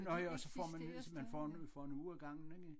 Nå jo og så får man man får en får en uge ikkE?